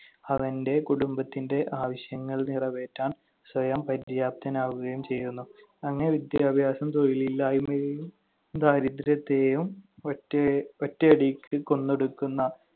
അവന്‍റെ കുടുംബത്തിന്‍റെ ആവശ്യങ്ങൾ നിറവേറ്റാൻ സ്വയം പര്യാപ്തനാവുകയും ചെയ്യുന്നു. അങ്ങനെ വിദ്യാഭ്യാസം തൊഴിലില്ലായ്മയെയും ദാരിദ്ര്യത്തെയും ഒറ്റയ~ ഒറ്റയടിക്ക് കൊന്നൊടുക്കുന്ന